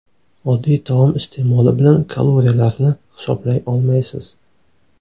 Oddiy taom iste’moli bilan kaloriyalarni hisoblay olmaysiz.